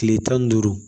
Tile tan ni duuru